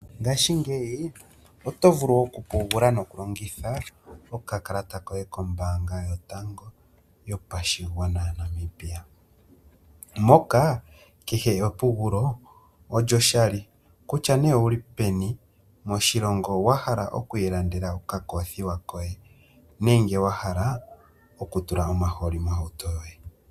Ngashingeyi oto vulu okupungula nokulongitha okakalata koye kombaanga yotango yopashigwana, moka kehe epungulo olyoshali, kutya owuli peni moshilongo wahala okwiilandela okakoofiwa koye nenge wahala okutulamo omahooli mohauto yoye.